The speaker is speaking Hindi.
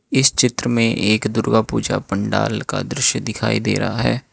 इस चित्र में एक दुर्गा पूजा पंडाल का दृश्य दिखाई दे रहा है।